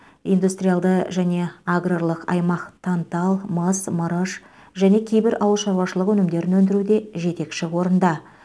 индустриалды және аграрлық аймақ тантал мыс мырыш және кейбір ауылшаруашылық өнімдерін өндіруде жетекші орында